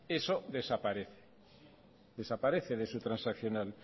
eso desaparece desaparece de su transaccional